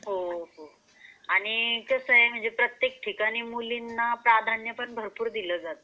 हो , हो. आणि कसा आहे प्रत्येक ठिकाणी मुलींना कसा प्राध्यान्य दिला जाता.